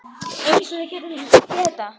Eins og við höfum getað.